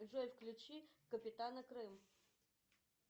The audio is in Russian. джой включи капитана крым